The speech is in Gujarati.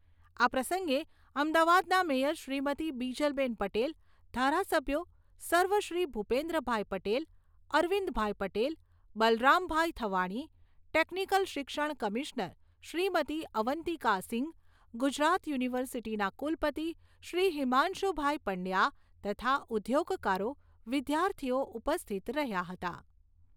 આ પ્રસંગે અમદાવાદના મેયર શ્રીમતી બીજલબેન પટેલ, ધારાસભ્યો સર્વ શ્રી ભુપેંદ્રભાઈ પટેલ, અરવિંદભાઈ પટેલ, બલરામભાઈ થવાણી, ટેકનીકલ શિક્ષણ કમિશ્નર શ્રીમતી અવંતિકા સિઘ, ગુજરાત યુનિવર્સિટીના કુલપતિ શ્રી હિમાંશુભાઈ પંડ્યા તથા ઉદ્યોગકારો, વિદ્યાર્થિઓ ઉપસ્થિત રહ્યા હતા.